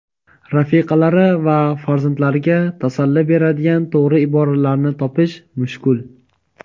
rafiqalari va farzandlariga tasalli beradigan to‘g‘ri iboralarni topish mushkul.